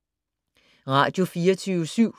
Radio24syv